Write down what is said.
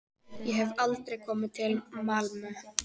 Ég hef aldrei komið til Malmö.